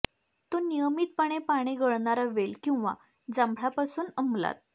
तो नियमितपणे पाने गळणारा वेल किंवा जांभळा पासून अंमलात